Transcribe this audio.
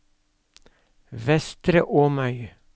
Vestre Åmøy